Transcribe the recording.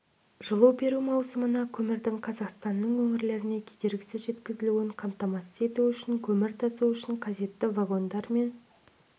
жылу беру маусымында көмірдің қазақстанның өңірлеріне кедергісіз жеткізілуін қамтамасыз ету үшін көмір тасу үшін қажетті вагондармен